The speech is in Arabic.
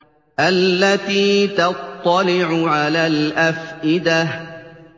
الَّتِي تَطَّلِعُ عَلَى الْأَفْئِدَةِ